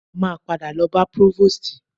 A máa padà lọ bá prọ́vòstì.